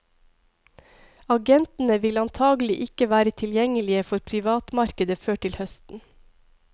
Agentene vil antagelig ikke være tilgjengelige for privatmarkedet før til høsten.